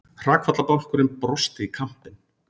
Hrakfallabálkurinn brosti í kampinn.